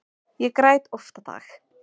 Ég græt oft á dag.